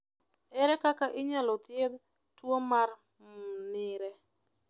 Ere kaka inyalo thiedh tuo mar Mnire?